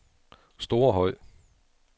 Storehøj